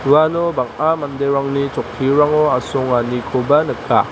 uano bang·a manderangni chokkirango asonganikoba nika.